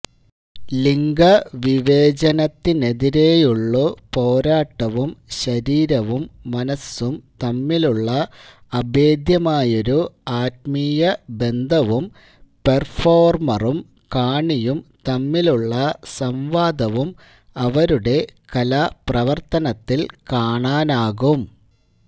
ലിംഗവിവേചനത്തിനെതിരെയുള്ളൂ പോരാട്ടവും ശരീരവും മനസ്സും തമ്മിലുള്ള അഭേദ്യമായൊരു ആത്മീയ ബന്ധവും പെർഫോർമറും കാണിയും തമ്മിലുള്ള സംവാദവും അവരുടെ കലാപ്രവർത്തനത്തിൽ കാണാനാകും